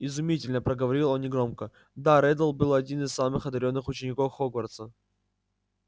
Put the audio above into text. изумительно проговорил он негромко да реддл был один из самых одарённых учеников хогвартса